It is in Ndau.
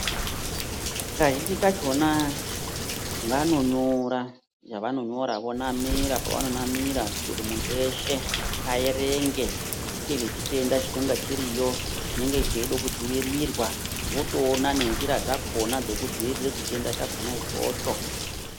Kazhinji kachona vanonyora zvavanonyora, vonamira pavanonamira kuite kuti muntu weshe aerenge, ngezvechitenda chinenga chiriyo, chinenge cheido kudzivirirwa votoona nenjira dzakona dzekudziirire chitenda chakona ichocho.